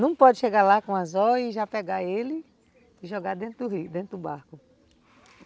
Não pode chegar lá com o anzol e já pegar ele e jogar dentro do rio, dentro do barco.